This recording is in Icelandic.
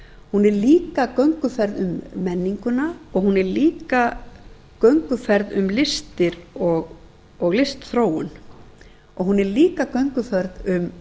hún er líka gönguferð um menninguna og hún er líka gönguferð um listir og listþróun hún er líka gönguferð um